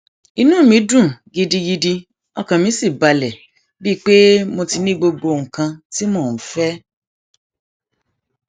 inú mi dùn gidigidi ọkàn mi sì balẹ bíi pé mo ti ní gbogbo nǹkan tí mò ń fẹ